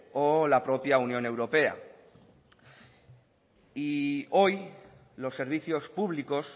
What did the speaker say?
o la propia unión europea hoy los servicios públicos